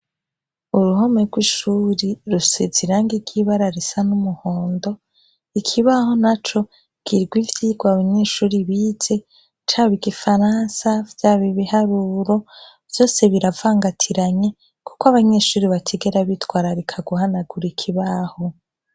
Uruhome rw'ishuri rusezi irange ryibararisa n'umuhondo ikibaho na co girwa ivyirwa abanyeshuri bize caba igifaransa vya bibi haruro vyose biravangatiranye, kuko abanyeshuri bakigera bitwara rika guhanagura ikibaho.